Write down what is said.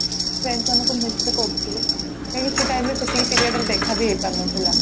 Friends ମାନଙ୍କୁ miss ବି କରୁଥିଲୁ ହେଲେ ସେ time ରେ ସେତିକି period ରେ ଦେଖା ବି ହେଇପାରୁନଥିଲା